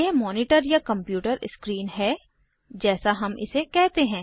यह मॉनिटर या computer screen है जैसा हम इसे कहते हैं